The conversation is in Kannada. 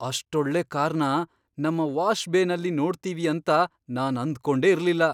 ಅಷ್ಟೊಳ್ಳೆ ಕಾರ್ನ ನಮ್ಮ ವಾಶ್ ಬೇನಲ್ಲಿ ನೋಡ್ತೀವಿ ಅಂತ ನಾನ್ ಅಂದ್ಕೊಂಡೇ ಇರ್ಲಿಲ್ಲ.